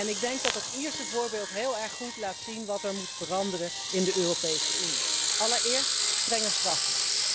Ik denk dat dat Ierse voorbeeld heel erg goed laat zien wat er moet veranderen in de Europese Unie. Allereerst strenger straffen.